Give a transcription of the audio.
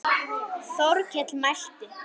Þórkell mælti